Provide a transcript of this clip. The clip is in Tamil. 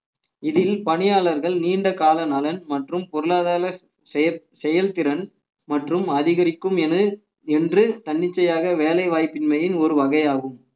இதில் பணியாளர்கள் நீண்டகால நலன் மற்றும் பொருளாதார செயல்~ செயல்திறன் மற்றும் அதிகரிக்கும் என என்று தன்னிச்சையாக வேலை வாய்ப்பின்மையின் ஒரு வகையாகும்